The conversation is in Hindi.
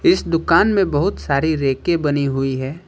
इस दुकान में बहुत सारी रैके बनी हुई है।